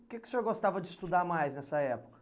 O que que o senhor gostava de estudar mais nessa época?